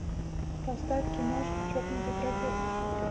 поставь киношку чокнутый профессор